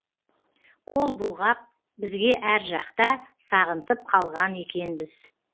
қол бұлғап бізге әр жақта сағынтып қалған екенбіз